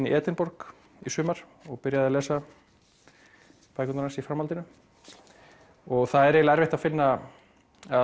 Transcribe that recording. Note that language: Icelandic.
í Edinborg í sumar og byrjaði að lesa bækurnar hans í framhaldinu og það er eiginlega erfitt að finna eða